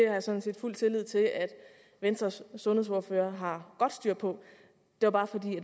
jeg sådan set fuld tillid til at venstres sundhedsordfører har godt styr på det var bare fordi